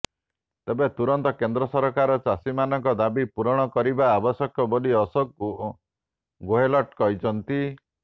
ତେବେ ତୁରନ୍ତ କେନ୍ଦ୍ର ସରକାର ଚାଷୀମାନଙ୍କ ଦାବି ପୂରଣ କରିବା ଆବଶ୍ୟକ ବୋଲି ଅଶୋକ ଗେହେଲଟ୍ କହିଛନ୍ତି